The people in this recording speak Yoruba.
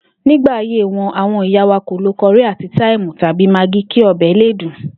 Nígbà ayé wo̩n, àwo̩n ìyá wa kò lo ko̩rí àti táìmù tàbí magí kí o̩bè̩ le dùn